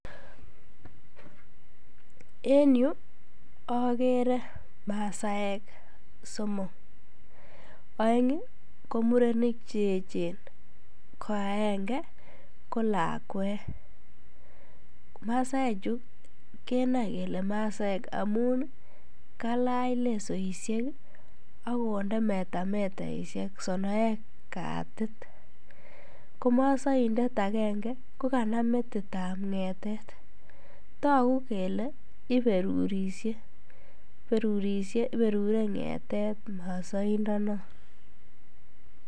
En yuu okere masaek somok, oeng komurenik cheechen, ko akeng'e ko lakwet, masaechu kenoe kelee masaek amun kalach lesoishek ak konde metametaishek sonoek katit, ko mosoindet akeng'e ko kanam metitab ng'etet, tokuu kelee iberurishe, iberurishe iberure ngetet mosoindonon.